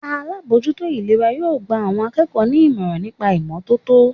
Alábòójútó ìlera yóò gba àwọn akẹ́kọ̀ọ́ ní ìmọ̀ràn nípa ìmọ́tótó.